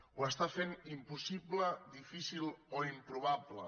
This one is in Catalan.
ho està fent impossible difícil o improbable